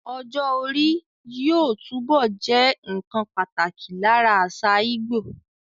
Ọjọ́ orí yóò túbọ̀ jẹ́ nnkan pàtàkì lára àṣà Ìgbò